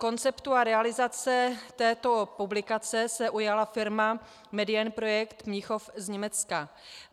Konceptu a realizace této publikace se ujala firma Medienprojekte Mnichov z Německa.